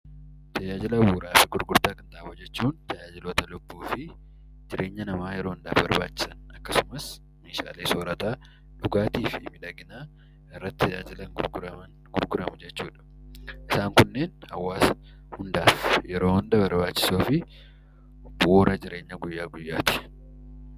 Taajaajila bu'uraaf gurgurtaa qinxaaboo jechuun tajaajiloota lubbuufi jireenya namaa yeroo hundaaf barbaachisan akkasumas meeshaalee sorataa, dhugaatiifi miidhaginaa irratti tajaajilan gurguramu jechuudha. Isaan kunneen hawaasa hundaaf yeroo hunda barbaachisoofi bu'uura jireenyaa guyyaa guyyaati.